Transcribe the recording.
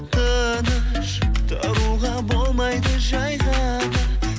тыныш тұруға болмайды жай ғана